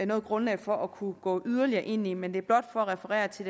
noget grundlag for at kunne gå yderligere ind i men det er blot for at referere til